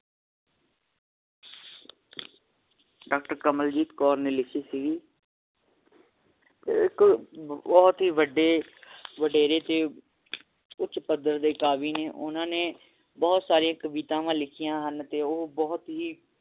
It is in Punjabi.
ਡਾਕਟਰ ਕਮਲਜੀਤ ਕੌਰ ਨੇ ਲਿਖੀ ਸੀਗੀ ਇੱਕ ਬਹੁਤ ਹੀ ਵੱਡੇ ਵਡੇਰੇ ਤੇ ਕੁਛ ਪੱਧਰ ਦੇ ਕਾਵਿ ਨੇ ਓਹਨਾ ਨੇ ਬਹੁਤ ਸਾਰੀ ਕਵਿਤਾਵਾਂ ਲਿਖੀਆਂ ਹਨ ਅਤੇ ਉਹ ਬਹੁਤ ਹੀ